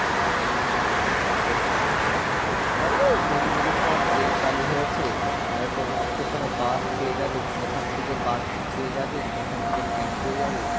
হ্যাঁ সেটাই চলো নতুন নতুন তোমার train চালু হয়েছে নালে তো তোমার তো ওখানে bus পেয়ে যাবে তুমি ওখান থেকে bus পেয়ে যাবে আমি এখান থেকে train পেয়ে যাবো